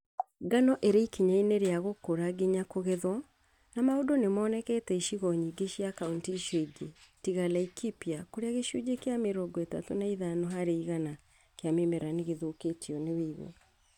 Ngano ĩrĩ ikinya inĩ rĩa gũkũra nginya kũgethwo na maũndũ nĩmonekete icigo nyingĩ cia kauntĩ icio ingĩ tiga Laikipia kũrĩa gĩcunjĩ kĩa mĩrongo ĩtatũ na ithano harĩ igana kĩa mĩmera nĩgĩthũkĩtio nĩ ũigũ